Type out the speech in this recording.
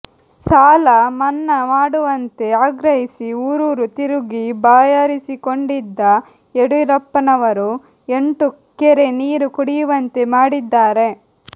ಸಾಲ ಮನ್ನಾ ಮಾಡುವಂತೆ ಆಗ್ರಹಿಸಿ ಊರೂರು ತಿರುಗಿ ಬಾಯಾರಿಸಿಕೊಂಡಿದ್ದ ಯಡಿಯೂರಪ್ಪನವರೂ ಎಂಟು ಕೆರೆ ನೀರು ಕುಡಿಯುವಂತೆ ಮಾಡಿದ್ದಾರೆ